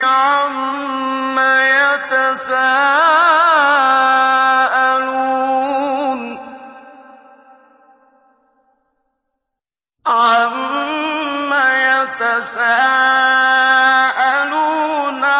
عَمَّ يَتَسَاءَلُونَ